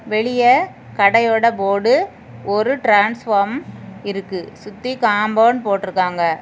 வெளிய கடையோட போர்டு ஒரு டிரான்ஸ்ஃபார்ம் இருக்கு சுத்தி காம்பவுண்ட் போட்ருக்காங்க.